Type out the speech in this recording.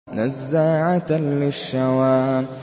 نَزَّاعَةً لِّلشَّوَىٰ